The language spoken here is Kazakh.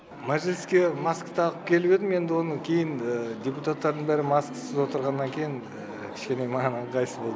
мәжіліске маска тағып келіп едім енді оны кейін депутаттардың бәрі маскасыз отырғаннан кейін кішкене маған ыңғайсыз болды